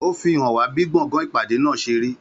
Ó fi hàn wá bí gbọ̀ngàn ìpàdé náà ṣe rí.